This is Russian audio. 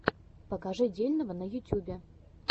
покажи дельного на ютюбе